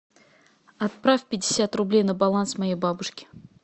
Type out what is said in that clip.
отправь пятьдесят рублей на баланс моей бабушки